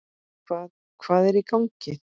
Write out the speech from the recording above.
Hvað, hvað er í gangi?